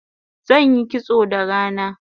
Zanyi kitso da rana